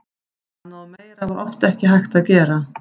Annað og meira var oft ekki hægt að gera.